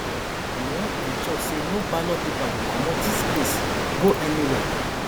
we wan ensure say no ballot paper go comot dis place go anywhere